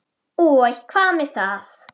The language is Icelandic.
Og hvað með það?